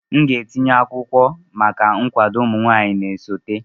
Aga m etinye akwụkwọ maka nkwado ụmụ nwanyị na-esote.